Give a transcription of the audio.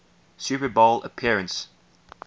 super bowl appearance